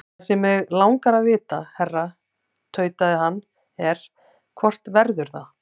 Það sem mig langar að vita, herra tautaði hann, er, hvort verður það?